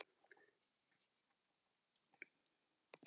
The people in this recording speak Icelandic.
Telst það að fiska víti sem stoðsending?